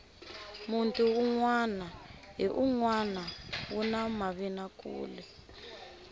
munti unwana hi unwana wu na mavinakule